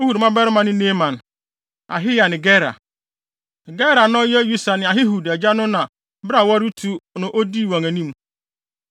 Ehud mmabarima ne Naaman, Ahiya ne Gera. Gera a na ɔyɛ Usa ne Ahihud agya no na bere a wɔretu no odii wɔn anim.